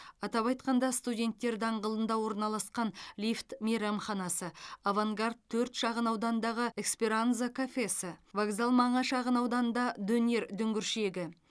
атап айтқанда студенттер даңғылында орналасқан лифт мейрамханасы авангард төрт шағын ауданындағы эсперанзо кафесі вокзал маңы шағынауданында донер дүңгіршегі